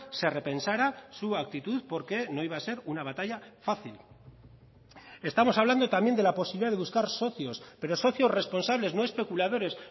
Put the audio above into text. se repensara su actitud porque no iba a ser una batalla fácil estamos hablando también de la posibilidad de buscar socios pero socios responsables no especuladores